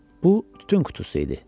Bu tütün qutusu idi.